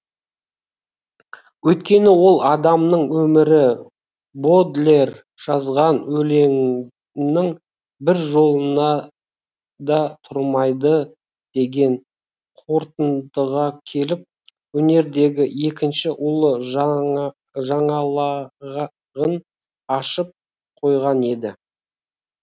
өйткені ол адамның өмірі бодлер жазған өлеңнің бір жолына да тұрмайды деген қорытындыға келіп өнердегі екінші ұлы жаңалағын ашып қойған еді